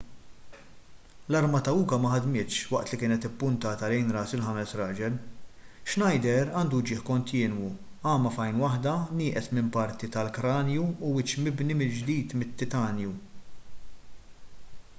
l-arma ta' uka ma ħadmitx waqt li kienet ippuntata lejn ras il-ħames raġel schneider għandu uġigħ kontinwu għama f'għajn waħda nieqes minn parti tal-kranju u wiċċ mibni mill-ġdid mit-titanju